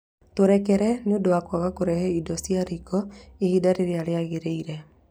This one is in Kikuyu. Tũrekere nĩ ũndũ wa kwaga kũrehe indo cia riko ihinda rĩrĩa rĩagĩrĩire